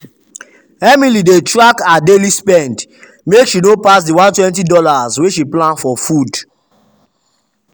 emily dey track her daily spend make she no pass the $120 wey she plan for food.